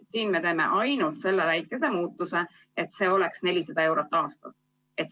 Siin me teeme ainult selle väikese muudatuse, et see oleks 400 eurot aastas.